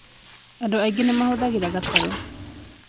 Andũ aingĩ nĩ mahũthagĩra gatarũ